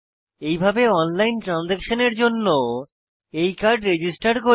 এইভাবে অনলাইন ট্রানসাকশানের জন্য এই কার্ড রেজিস্টার করি